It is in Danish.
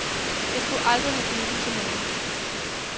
Jeg skulle aldrig have givet den til nogen.